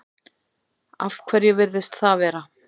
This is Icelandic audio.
Af hverju virðist það vera?